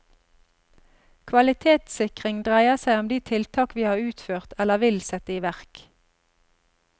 Kvalitetssikring dreier seg om de tiltak vi har utført eller vil sette i verk.